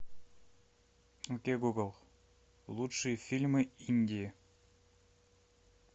окей гугл лучшие фильмы индии